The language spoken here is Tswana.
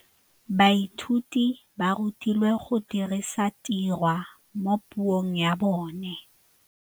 Baithuti ba rutilwe go dirisa tirwa mo puong ya bone.